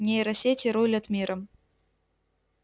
нейросети рулят миром